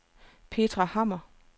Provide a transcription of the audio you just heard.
Petra Hammer